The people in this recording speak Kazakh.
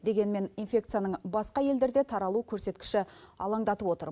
дегенмен инфекцияның басқа елдерде таралу көрсеткіші алаңдатып отыр